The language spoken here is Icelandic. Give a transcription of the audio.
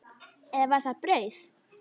Eða var það brauð?